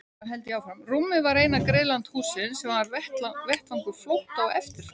Rúmið var eina griðland hússins sem var vettvangur flótta og eftirfarar.